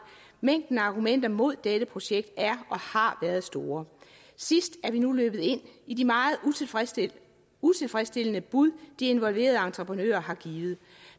mængden af argumenter mod dette projekt er og har været store sidst er vi nu løbet ind i de meget utilfredsstillende utilfredsstillende bud de involverede entreprenører har givet